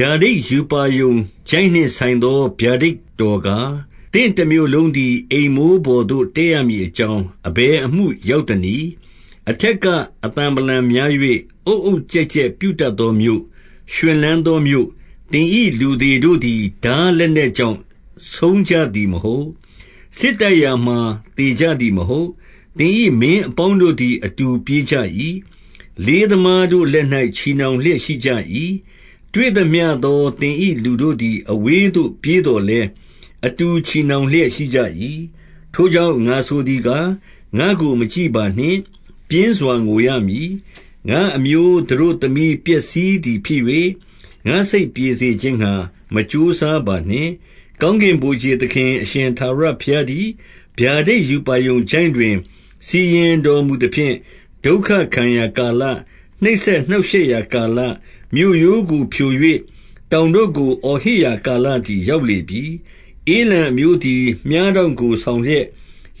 ဗျာဒိတ်ရူပါရုံချိုင့် နှင့် ဆိုင်သော ဗျာဒိတ်တော် ကား၊ သင့်တမြို့လုံးသည် အိမ်မိုးပေါ်သို့ တက်ရမည် အကြောင်း၊ အဘယ်အမှု ရောက်သနည်း။ 2 အထက်က အသံဗလံများ၍ အုတ်အုတ်ကျက် ကျက် ပြုတတ်သောမြို့၊ ရွှင်လန်းသောမြို့၊ သင်၏ လူသေ တို့သည် ထား လက်နက်ကြောင့် ဆုံးကြသည်မဟုတ်။ စစ်တိုက်ရာမှာ သေကြသည် မဟုတ်။ 3 သင်၏ မင်းအပေါင်းတို့သည် အတူပြေးကြ၏။လေးသမားတို့ လက်၌ ချည်နှောင်လျက်ရှိကြ၏။ တွေ့သ မျှသော သင်၏ လူတို့သည် အဝေးသို့ ပြေးသော်လည်း၊ အတူချည်နှောင်လျက်ရှိကြ၏။ 4 ထိုကြောင့် ငါဆိုသည်ကား၊ ငါ့ကိုမကြည့်ပါနှင့်။ ပြင်းစွာ ငိုရမည်။ ငါ့အမျိုးသတို့သမီး ပျက်စီးသည်ဖြစ်၍၊ ငါ့စိတ်ပြေစေခြင်းငှါ မကြိုးစားပါနှင့်။ 5 ကောင်းကင် ဗိုလ်ခြေသခင်အရှင်ထာဝရ ဘုရားသည်၊ ဗျာဒိတ်ရူပါရုံချိုင့်တွင် စီရင်တော်မူ သဖြင့်၊ ဒုက္ခခံရာကာလ၊ နှိပ်စက် နှောင့်ရှက်ရာကာလ၊ မြို့ရိုးကို ဖြို၍ တောင်တို့ကို အော်ဟစ်ရာကာလသည် ရောက်လေ ပြီ။ 6 ဧလံအမျိုးသည် မြှားတောင့်ကို ဆောင်လျက်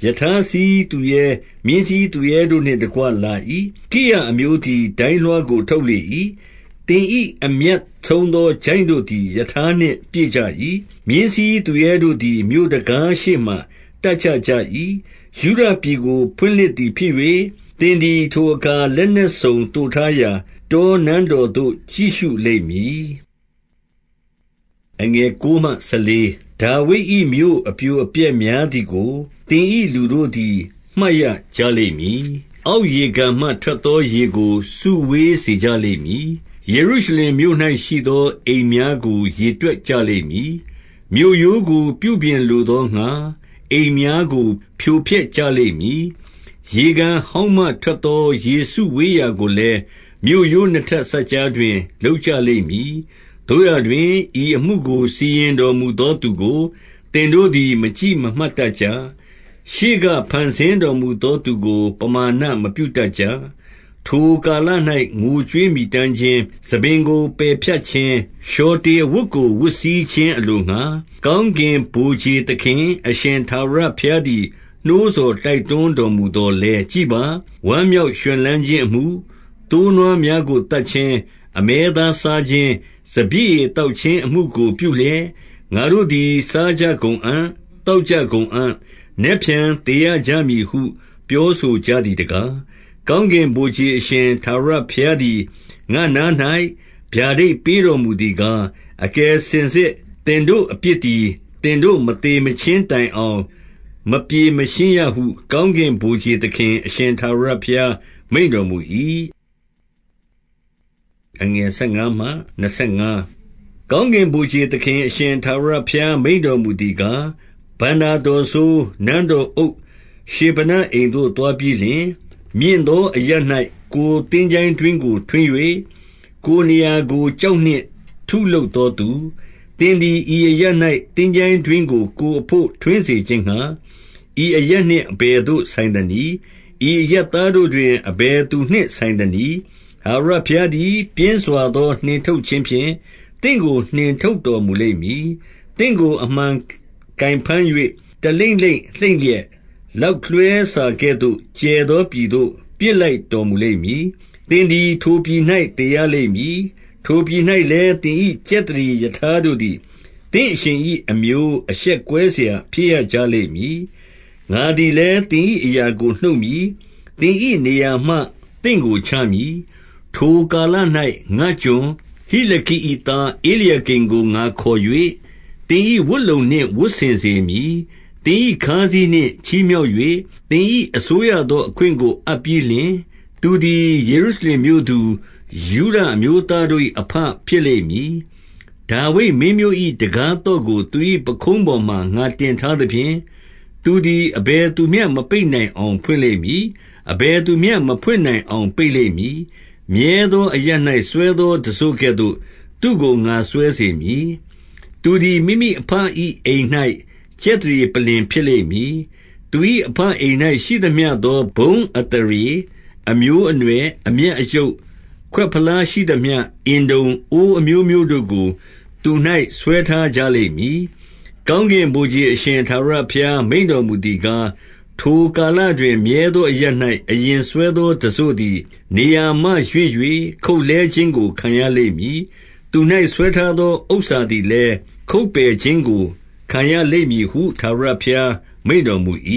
၊ ရထားစီးသူရဲ၊ မြင်းစီးသူရဲ တို့နှင့်တကွ လာ၏။ ကိရ အမျိုးသည် ဒိုင်းလွှားကို ထုတ်လေ၏။ 7 သင်၏ အမြတ်ဆုံးသော ချိုင့်တို့သည် ရထားနှင့် ပြည့်ကြ၏။ မြင်းစီးသူရဲတို့သည် မြို့တံခါးရှေ့မှာ တပ်ချ ကြ၏။ 8 ယုဒပြည်ကို ဖွင့်လှစ်သည် ဖြစ်၍၊ သင်သည် ထိုအခါ လက်နက်စုံ သိုထားရာ၊ တောနန်းတော်သို့ ကြည့်ရှုလိမ့်မည်။ 9 ဒါဝိဒ်၏မြို့ အပြိုအပျက်များသည်ကို သင်၏ လူတို့သည် မှတ်ရကြလိမ့်မည်။ အောက်ရေကန်မှထွက် သော ရေကို စုဝေးစေကြလိမ့်မည်။ 10 ယေရုရှလင်မြို့၌ ရှိသောအိမ်များကို ရေတွက် ကြလိမ့်မည်။ မြို့ရိုးကို ပြုပြင်လိုသောငှါ၊ အိမ်များကို ဖြို ဖျက်ကြလိမ့်မည်။ 11 ရေကန်ဟောင်းမှထွက်သော ရေစုဝေးရာ ကိုလည်း၊ မြို့ရိုးနှစ်ထပ်စပ်ကြားတွင် လုပ်ကြလိမ့်မည်။ သို့ရာတွင်၊ ဤအမှုကို စီရင်တော်မူသောသူကို သင်တို့ သည် မကြည့်မမှတ် တတ်ကြ။ ရှေးက ဖန်ဆင်းတော်မူ သောသူကို ပမာဏမပြု တတ်ကြ။ 12 ထိုကာလ၌ ငိုကြွေးမြည်တမ်းခြင်း၊ ဆံပင်ကို ပယ်ဖြတ်ခြင်း၊ လျှော်တေအဝတ်ကို ဝတ်စည်းခြင်း အလို ငှါ၊ ကောင်းကင်ဗိုလ်ခြေသခင် အရှင်ထာဝရဘုရားသည် နှိုးဆော် တိုက်တွန်းတော်မူသော်လည်း၊ 13 ကြည့်ပါ။ဝမ်းမြောက် ရွှင်လန်းခြင်းအမှု၊ သိုးနွား များကိုသတ်ခြင်း၊ အမဲသားစားခြင်း၊ စပျစ်ရည် သောက် ခြင်း အမှုကို ပြုလျက်၊ ငါတို့သည် စားကြကုန်အံ့၊ သောက် ကြကုန်အံ့၊ နက်ဖြန်သေရ ကြမည်ဟု ပြောဆို ကြ သည် တကား။ 14 ကောင်းကင်ဗိုလ်ခြေ အရှင်ထာဝရဘုရားသည် ငါ့နား၌ ဗျာဒိတ် ပေးတော်မူသည်ကား၊ အကယ်စင်စစ် သင်တို့အပြစ်သည် သင်တို့ မသေမချင်းတိုင်အောင် မပြေ မရှင်းရဟု ကောင်းကင်ဗိုလ်ခြေသခင် အရှင်ထာဝရ ဘု ရား မိန့်တော်မူ၏။ 15 ကောင်းကင်ဗိုလ်ခြေသခင် အရှင်ထာဝရ ဘု ရား မိန့်တော်မူသည်ကား၊ ဘဏ္ဍာတော်စိုး၊ နန်းတော် အုပ်ရှေဗနအိမ်သို့ သွားပြီးလျှင်၊ 16 မြင့်သော အရပ်၌ ကိုယ်သင်္ချိုင်းတွင်းကို ထွင်း ၍၊ ကိုယ်နေရာကို ကျောက်၌ထုလုပ်သောသူ၊ သင်သည် ဤအရပ်၌ သင်္ချိုင်းတွင်းကို ကိုယ်အဘို့ထွင်းစေခြင်းငှါ၊ ဤအရပ် နှင့် အဘယ်သို့ဆိုင်သနည်း။ 17 ထာဝရဘုရားသည် ပြင်းစွာသော နှင်ထုတ်ခြင်း ဖြင့် သင့်ကို နှင်ထုတ်တော်မူလိမ့်မည်။ သင့်ကို အမှန် ကိုင်ဘမ်း၍၊ 18 တလိမ့်လိမ့် လှိမ့်လျက်၊ လောက်လွှဲစာကဲ့သို့ ကျယ်သောပြည်သို့ ပစ်လိုက်တော်မူလိမ့်မည်။ သင်သည် ထိုပြည်၌ သေရလိမ့်မည်။ ထိုပြည်၌လည်း သင်၏ ကြက် သရေရထားတို့သည်၊ သင့်အရှင်၏ အမျိုးအရှက်ကွဲစရာ ဖြစ်ရကြလိမ့်မည်။ 19 ငါသည်လည်း သင်၏ အရာကို နှုတ်မည်။ သင် ၏ နေရာမှ သင့်ကိုချမည်။ 20 ထိုကာလ၌ ငါ့ကျွန်၊ ဟိလခိ၏ သားဧလျာကိမ် ကို ငါခေါ်၍၊ 21 သင်၏ဝတ်လုံ နှင့် ဝတ်ဆင်စေမည်။ သင်၏ ခါးစည်းနှင့် ချီးမြှောက်၍၊ သင်၏ အစိုးရသော အခွင့်ကို အပ်ပြီးလျှင်၊ သူသည် ယေရုရှလင်မြို့သူ၊ ယုဒအမျိုးသား တို့၏ အဘဖြစ်လိမ့်မည်။ 22 ဒါဝိဒ်မင်းမျိုး၏ တံခါးသော့ကိုသူ၏ ပခုံးပေါ်မှာ ငါတင်ထားသဖြင့်၊ သူသည် အဘယ်သူမျှမပိတ်နိုင် အောင် ဖွင့်လိမ့်မည်။ အဘယ်သူမျှ မဖွင့်နိုင်အောင် ပိတ် လိမ့်မည်။ 23 မြဲသော အရပ်၌ စွဲသောတံစို့ကဲ့သို့ သူ့ကိုငါစွဲစေ မည်။ သူသည် မိမိအဘ၏ အိမ်၌ ကြက်သရေပလ္လင် ဖြစ်လိမ့်မည်။ 24 သူ၏ အဘအိမ်၌ ရှိသမျှသော ဘုန်းအသရေ၊ အမျိုးအနွယ်၊ အမြတ်အယုတ်၊ ခွက်ဖလားရှိသမျှ၊ အင်တုံ၊ အိုးအမျိုးမျိုးတို့ကို သူ၌ဆွဲထားကြလိမ့်မည်။ 25 ကောင်းကင်ဗိုလ်ခြေ အရှင်ထာဝရဘုရား မိန့်တော်မူသည်ကား၊ ထိုကာလတွင် မြဲသောအရပ်၌ အရင်စွဲသောတံစို့သည် နေရာမှရွှေ့၍၊ ခုတ်လှဲခြင်းကို ခံရလိမ့်မည်။ သူ၌ဆွဲထားသော ဥစ္စာသည်လည်း၊ ခုတ်ပယ်ခြင်းကို ခံရလိမ့်မည်ဟု ထာဝရဘုရား မိန့်တော် မူ၏။